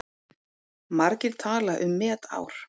Margir tala um met ár.